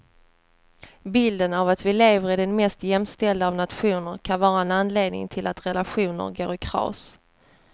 Bilden av att vi lever i den mest jämställda av nationer kan vara en anledning till att relationer går i kras.